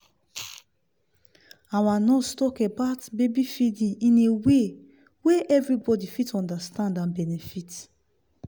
our nurse talk about baby feeding in a way wey everybody fit understand and benefit.